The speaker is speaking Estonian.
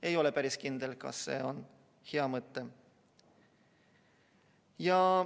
Ei ole päris kindel, kas see on hea mõte.